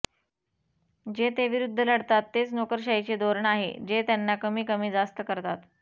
जे ते विरुद्ध लढतात तेच नोकरशाहीचे धोरण आहे जे त्यांना कमी कमी जास्त करतात